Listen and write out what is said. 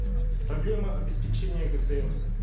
проблема обеспечения гсм